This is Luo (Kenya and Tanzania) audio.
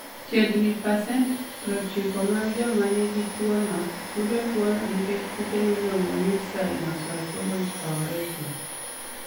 Chiegni ni pasent 90 mag joma nigi tuwono, yudo tuwono nikech kute miluongo ni Staphylococcus aureus.